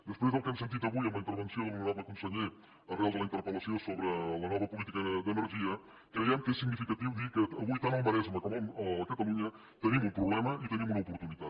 després del que hem sentit avui amb la intervenció de l’honorable conseller arran de la interpel·lació sobre la nova política d’energia creiem que és significatiu dir que avui tant al maresme com a catalunya tenim un problema i tenim una oportunitat